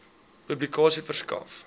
publikasie verskaf